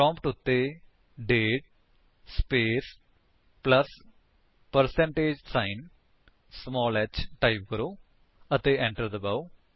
prompt ਉੱਤੇ date space plus percentage sign small h type ਕਰੋ ਅਤੇ enter ਦਬਾਓ